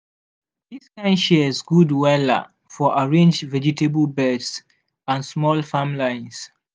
this kind shears good wella for arrange vegetable beds and small farm lines.